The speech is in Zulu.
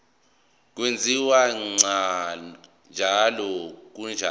kwenziwa ngcono kukhonjiswa